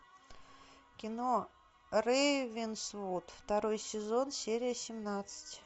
кино рейвенсвуд второй сезон серия семнадцать